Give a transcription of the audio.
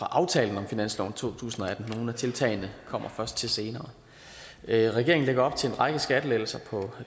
aftalen om finansloven to tusind og atten nogle af tiltagene kommer først til senere regeringen lægger op til en række skattelettelser